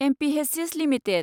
Mphasis limited